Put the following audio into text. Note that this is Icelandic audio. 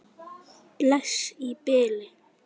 Bless í bili.